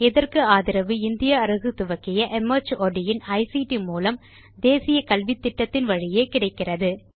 இதற்கு ஆதரவு இந்திய அரசு துவக்கிய மார்ட் இன் ஐசிடி மூலம் தேசிய கல்வித்திட்டத்தின் வழியே கிடைக்கிறது